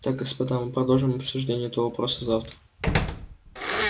так господа мы продолжим обсуждение этого вопроса завтра